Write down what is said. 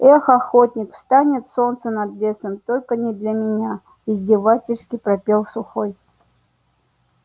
эх охотник встанет солнце над лесом только не для меня издевательски пропел сухой